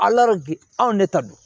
anw ne ta don